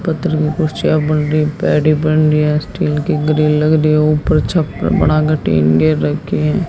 कुर्सियां बन रही बन रही है स्टील की ग्रिल लग रही है ऊपर छप्पर बनाकर टीन घेर रखी हैं।